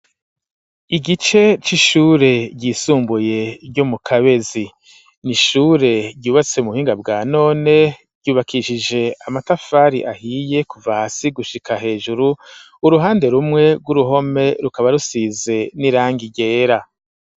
Igice c'ishure ryisumbuye ryo mu Kabezi n'ishure ryubatse mu buhinga bwa none ryubakishije amatafari ahiye kuva hasi gushika hejuru uruhande rumwe rw'uruhome rukaba rusize n'irangi ryera.